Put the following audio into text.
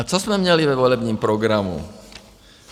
A co jsme měli ve volebním programu?